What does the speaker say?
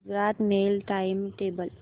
Gujarat mail time table